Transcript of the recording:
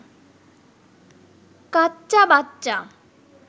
কাচ্চা বাচ্চা